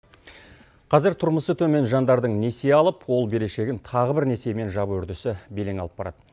қазір тұрмысы төмен жандардың несие алып қол берешегін тағы бір несиемен жабу үрдісі белең алып барады